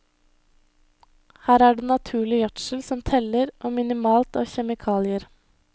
Her er det naturlig gjødsel som teller, og minimalt av kjemikalier.